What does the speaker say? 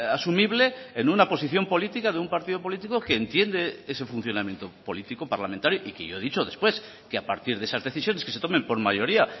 asumible en una posición política de un partido político que entiende ese funcionamiento político parlamentario y que yo he dicho después que a partir de esas decisiones que se tomen por mayoría